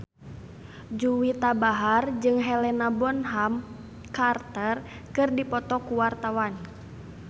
Juwita Bahar jeung Helena Bonham Carter keur dipoto ku wartawan